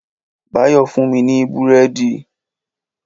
Báyọ̀ fún mi ní Búrẹ́dì.